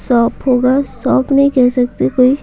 shop होगा shop नहीं कह सकते कोई --